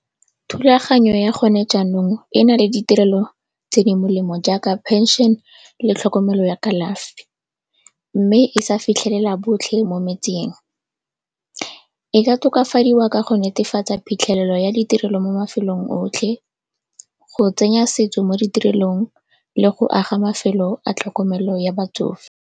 Thulaganyo ya go ne jaanong e na le ditirelo tse di molemo jaaka pension le tlhokomelo ya kalafi, mme e sa fitlhelela botlhe mo metseng. E ka tokafadiwa ka go netefatsa phitlhelelo ya ditirelo mo mafelong otlhe, go tsenya setso mo ditirelong le go aga mafelo a tlhokomelo ya batsofe.